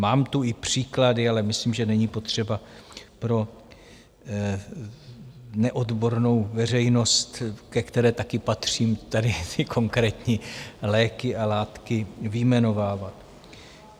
Mám tu i příklady, ale myslím, že není potřeba pro neodbornou veřejnost, ke které taky patřím, tady ty konkrétní léky a látky vyjmenovávat.